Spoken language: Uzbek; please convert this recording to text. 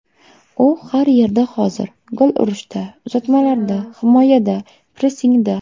U har yerda hozir: gol urishda, uzatmalarda, himoyada, pressingda.